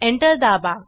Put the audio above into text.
enter दाबा